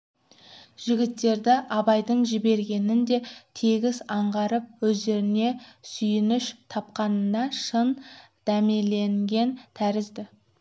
жігіттерді абайдың жібергенін де тегіс аңғарып өздеріне сүйеніш тапқанға шын дәмеленген тәрізді